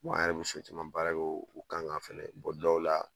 an yɛrɛ bi so caman baara kɛ o kan ka fɛnɛ o dɔw la